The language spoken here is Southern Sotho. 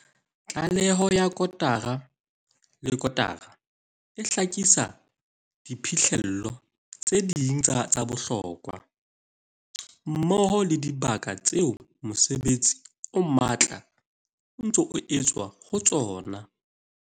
Tlaleho ya kotara le kotara e hlakisa diphihlello tse ding tsa bohlokwa, mmoho le dibaka tseo mosebetsi o matla o ntseng o etswa ho tsona.